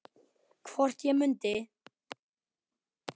Hvort ég mundi.